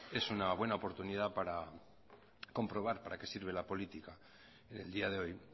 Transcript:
es una buena oportunidad para comprobar para qué sirve la política en el día de hoy